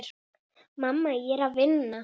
Mamma, ég er að vinna.